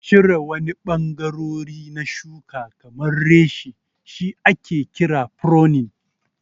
Cire wani ɓangarori na shuka kamar reshe shi ake kira pruning.